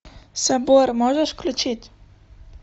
собор можешь включить